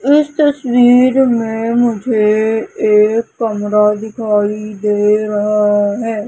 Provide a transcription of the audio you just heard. इस तस्वीर में मुझे एक कमरा दिखाई दे रहा है।